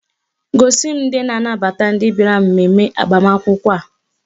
Gosi m ndị na-anabata ndị bịara mmemme agbamakwụkwọ a.